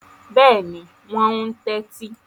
Bẹ́ẹ̀ni, wọn ń tẹ́tí.